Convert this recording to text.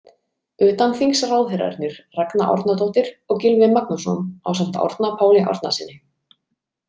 Utanþingsráðherrarnir Ragna Árnadóttir og Gylfi Magnússon ásamt Árna Páli Árnasyni.